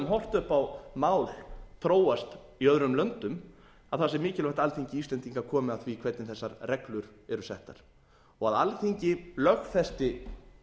horft upp á mál þróast í öðrum löndum að það sé mikilvægt að alþingi íslendinga komi að því hvernig þessar reglur eru settar og að alþingi lögfesti